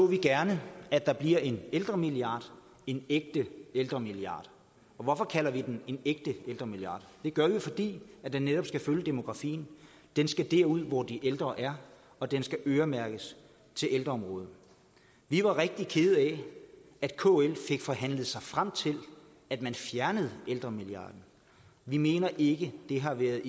vi gerne at der bliver en ældremilliard en ægte ældremilliard og hvorfor kalder vi den en ægte ældremilliard det gør vi fordi den netop skal følge demografien den skal derud hvor de ældre er og den skal øremærkes til ældreområdet vi var rigtig kede af at kl fik forhandlet sig frem til at man fjernede ældremilliarden vi mener ikke det har været